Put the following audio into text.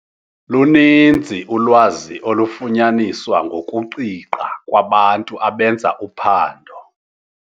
Luninzi ulwazi olufunyaniswa ngokuqiqa kwabantu abenza uphando.